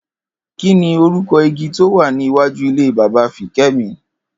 Kí ni orúko̩ igi tó wà ní iwájú ilé bàbá Fiké̩mi?